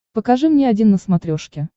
покажи мне один на смотрешке